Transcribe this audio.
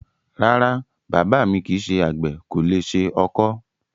Rárá, bàbá mi kìí ṣe àgbè, kò le ṣe ọkọ́.